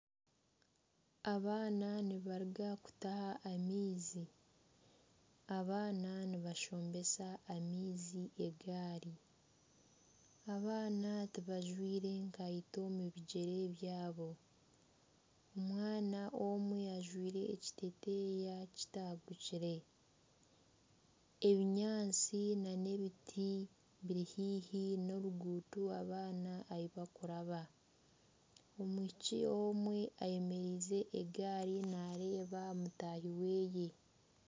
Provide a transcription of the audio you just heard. Abaana nibaruga kutaaha amaizi, abaana nibashombesa amaizi egaari, abaana tibajwire kaito omu bigyere byabo. Omwana omwe ajwaire ekiteteeya kitangukire, ebinyaatsi n'ebiti biri haihi n'oruguuto abaana ahi bakuraba omwishiki omwe ayemereize egaari nareeba mutaahi we